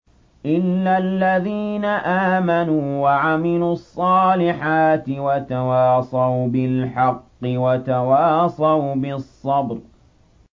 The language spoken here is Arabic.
إِلَّا الَّذِينَ آمَنُوا وَعَمِلُوا الصَّالِحَاتِ وَتَوَاصَوْا بِالْحَقِّ وَتَوَاصَوْا بِالصَّبْرِ